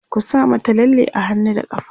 ku sa mata lalle a hannu da ƙafa!